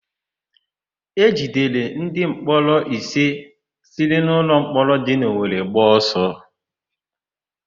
E jidere ndịmkpọrọ ise siri n'ụlọmkpọrọ dị n'Owere gbaa ọsọ